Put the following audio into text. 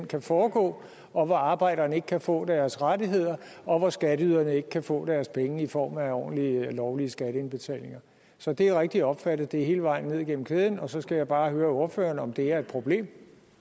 kan foregå hvor arbejderne ikke kan få deres rettigheder og hvor skatteyderne ikke kan få deres penge i form af ordentlige lovlige skatteindbetalinger så det er rigtigt opfattet at det er hele vejen ned igennem kæden og så skal jeg bare høre ordføreren om det er et problem